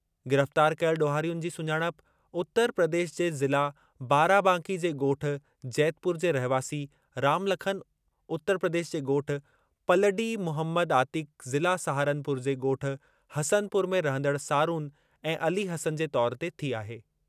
गिरफ़्तार कयल ॾोहारियुनि जी सुञाणप उतर प्रदेश जे ज़िला बाराबांकी जे ॻोठु जैतपुर जे रहिवासी रामलखन, उतर प्रदेश जे ॻोठु पलडी मुहमद आतिक ज़िला सहारनपुर जे ॻोठु हसनपुर में रहंदड़ सारून ऐं अली हसन जे तौरु ते थी आहे।